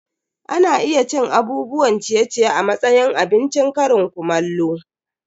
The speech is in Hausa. Ana iya cin abubuwan ciye-ciye a matsayin abincin ƙarin kumallo.